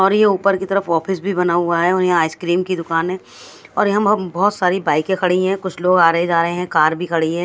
और ये ऊपर की तरफ ऑफिस भी बना हुआ है और यहाँ आइसक्रीम की दुकान है और यहाँ बहोत सारी बाइके खड़ी हैं कुछ लोग आ रहे है जा रहे हैं कार भी खड़ी है।